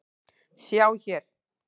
Sjá hér